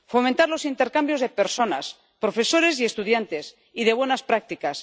Fomentar los intercambios de personas, profesores y estudiantes, y de buenas prácticas.